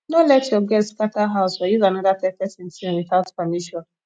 no let your guest scatter house or use another pesin thing without permission